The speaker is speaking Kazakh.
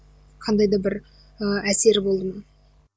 қандай да бір ыыы әсері болды ма